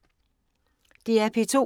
DR P2